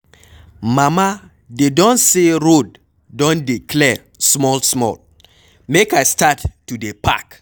Mama dey don say road don dey clear small small, make I start to dey park?